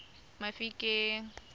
mafikeng